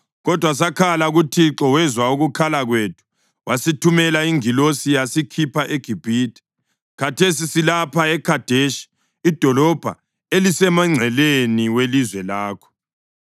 kodwa sakhala kuThixo wezwa ukukhala kwethu wasithumela ingilosi yasikhipha eGibhithe. Khathesi silapha eKhadeshi idolobho elisemngceleni welizwe lakho.